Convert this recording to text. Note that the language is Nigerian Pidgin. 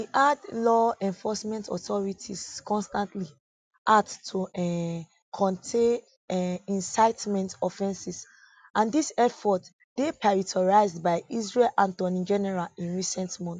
e add law enforcement authorities constantly act to um curtail um incitement offences and dis effort dey prioritised by israel attorney general in recent months